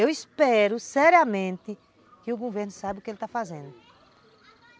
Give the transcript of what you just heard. Eu espero, seriamente, que o governo saiba o que ele está fazendo.